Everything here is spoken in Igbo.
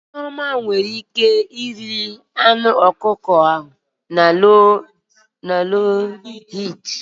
Nneoma nwere ike ighe anụ ọkụkọ ahụ na obele ọkụ